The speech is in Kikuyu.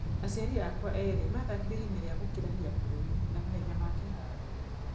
Aciari akwa erĩ mathakire ihenya rĩa gũkĩrania bũruri na mahenya ma kĩharo.